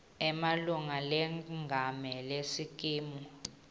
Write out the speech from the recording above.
emalunga lengamele sikimu